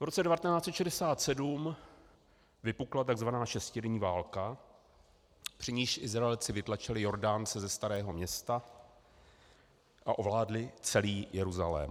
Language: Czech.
V roce 1967 vypukla tzv. šestidenní válka, při níž Izraelci vytlačili Jordánce ze Starého Města a ovládli celý Jeruzalém.